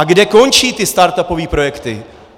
A kde končí ty startupové projekty?